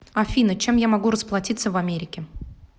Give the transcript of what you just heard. афина чем я могу расплатиться в америке